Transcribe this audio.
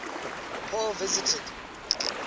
paul visited